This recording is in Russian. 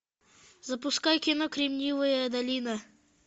запускай кино кремниевая долина